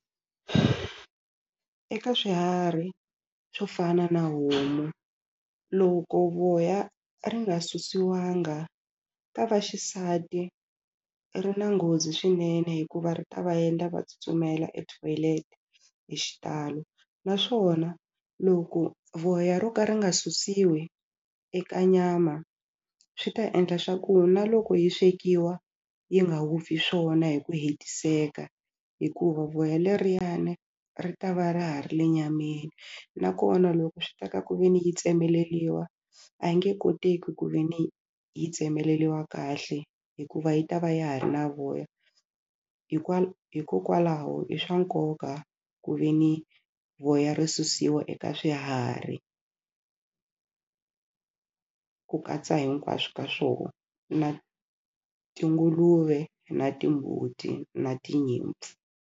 Eka swiharhi swo fana na homu loko voya ri nga susiwanga ka vaxisati ri na nghozi swinene hikuva ri ta va endla va tsutsumela e toilet hi xitalo naswona loko voya ro ka ri nga susiwi eka nyama swi ta endla swa ku na loko yi swekiwa yi nga vupfi swona hi ku hetiseka hikuva voya leriyani ri ta va ra ha ri le nyameni nakona loko swi ta ka ku ve ni yi tsemeleliwa a yi nge koteki ku ve ni yi tsemeleliwa kahle hikuva yi ta va ya ha ri na voya hikokwalaho i swa nkoka ku ve ni voya ri susiwa eka swiharhi ku katsa hinkwaswo ka swoho na tinguluve na timbuti na tinyimpfu.